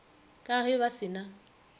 ka ge ba se na